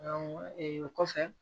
ee o kɔfɛ